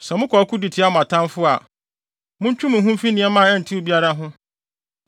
Sɛ mokɔ ɔko de tia mo atamfo a, montwe mo ho mfi nea ɛho ntew biara ho.